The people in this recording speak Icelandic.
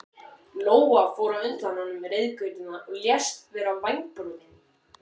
Lóa fór á undan honum reiðgötuna og lést vera vængbrotin.